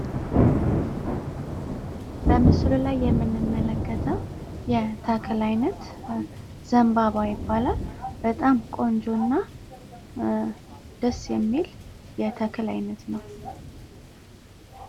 በምስሉ ላይ የምንመለከተው የተክል አይነት ዘንባባ ይባላል ። በጣም ቆንጆ አና ደስ የሚል የተክል አይነት ነው።